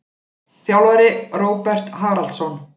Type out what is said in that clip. Þjálfari: Róbert Haraldsson.